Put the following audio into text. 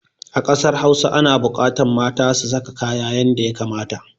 A ƙasar hausa ana buƙatan mata su saka kaya yanda ya kamata.